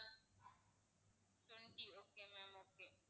twenty okay ma'am okay